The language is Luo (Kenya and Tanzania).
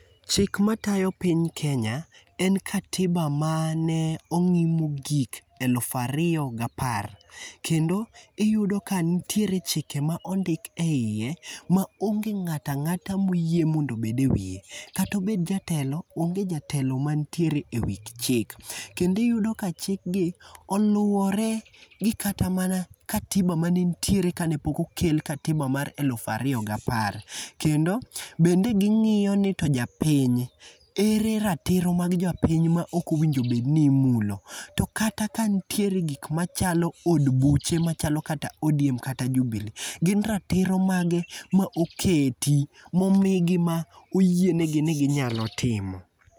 Chik matayo piny Kenya, en katiba mane ong'i mogik eluf ariyo gi apar. Kendo iyudo ka nitie chike ma ondik eiye ma onge ng'ato ang'ata moyie mondo obed ewiye. Kata obed jatelo onge jatelo mantiere ewi chik kendo iyudo ka chikgi oluwore gi kata mana katiba manitiere ane pok okel katiba mar elufu ariyo gapar kendo bende ging'iyo nito japiny, ere ratiro mag japiny maok owinjo bed ni imlo to kata kanitiere gik machalo d buche machalo kata ODM , machalokata Jubilee, gin ratiro mage ma oketi momigi ma oyienegi ni ginyalo timo.